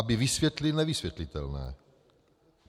Aby vysvětlil nevysvětlitelné.